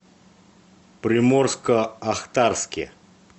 приморско ахтарске